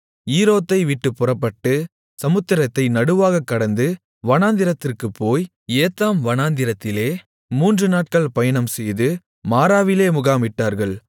ஈரோத்தை விட்டுப் புறப்பட்டு சமுத்திரத்தை நடுவாகக் கடந்து வனாந்திரத்திற்குப் போய் ஏத்தாம் வனாந்திரத்திலே மூன்று நாட்கள் பயணம்செய்து மாராவிலே முகாமிட்டார்கள்